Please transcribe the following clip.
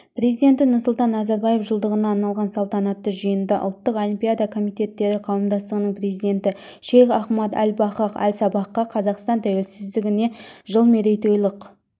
президенті нұрсұлтан назарбаев жылдығына арналған салтанатты жиында ұлттық олимпиада комитеттері қауымдастығының президенті шейх ахмад әл-фахад әл-сабахқа қазақстан тәуелсіздігіне жыл мерейтойлық